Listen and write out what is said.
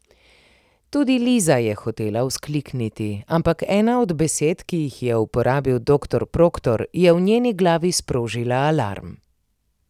Tudi Liza je hotela vzklikniti, ampak ena od besed, ki jih je uporabil doktor Proktor, je v njeni glavi sprožila alarm.